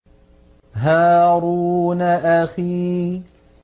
هَارُونَ أَخِي